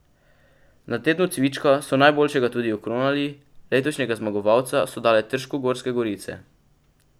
Na Tednu cvička so najboljšega tudi okronali, letošnjega zmagovalca so dale trškogorske gorice.